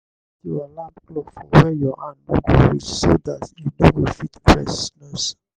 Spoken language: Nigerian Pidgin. put your alarm clock for where your hand no go reach so dat you no go fit press snooze